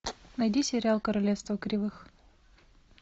найди сериал королевство кривых